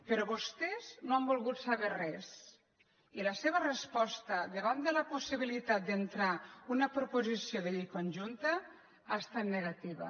però vostès no han volgut saber res i la seva resposta davant de la pos·sibilitat d’entrar una proposició de llei conjunta ha estat negativa